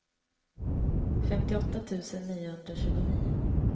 femtioåtta tusen niohundratjugonio